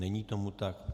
Není tomu tak.